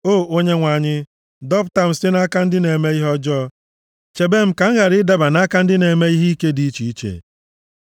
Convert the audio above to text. O Onyenwe anyị, dọpụta m site nʼaka ndị na-eme ihe ọjọọ. Chebe m ka m ghara ịdaba nʼaka ndị na-eme ihe ike dị iche iche.